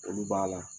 Olu b'a la